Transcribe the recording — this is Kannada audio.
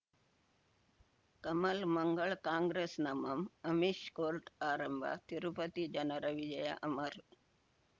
ಕಮಲ್ ಮಂಗಳ್ ಕಾಂಗ್ರೆಸ್ ನಮಃ ಅಮಿಷ್ ಕೋರ್ಟ್ ಆರಂಭ ತಿರುಪತಿ ಜನರ ವಿಜಯ ಅಮರ್